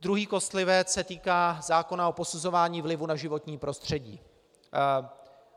Druhý kostlivec se týká zákona o posuzování vlivu na životní prostředí.